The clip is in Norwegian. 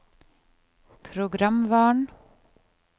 programvaren